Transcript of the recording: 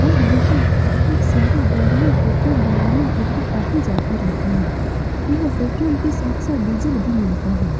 और यहाँ बहुत सारी गाड़ियाँ पेट्रोल डलवाने के लिए आती-जाती रहती हैं यह पेट्रोल के साथ-साथ डीज़ल भी मिलता है।